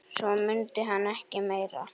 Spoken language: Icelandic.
Svo mundi hann ekki meira.